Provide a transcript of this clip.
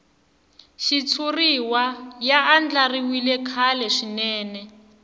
xitshuriwa ya andlariwile kahle swinene